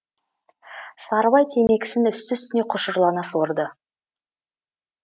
сарыбай темекісін үсті үстіне құшырлана сорды